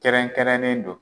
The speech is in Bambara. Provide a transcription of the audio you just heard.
Kɛrɛnkɛrɛnnen don.